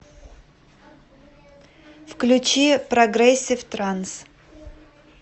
включи прогрессив транс